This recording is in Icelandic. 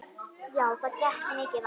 Já, það gekk mikið á.